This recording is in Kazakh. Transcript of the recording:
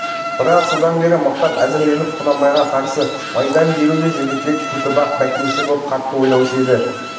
бірақ содан бері мықтап әзірленіп құнанбайға қарсы майдан беруді жігітек көтібақ бөкенші боп қатты ойлаушы еді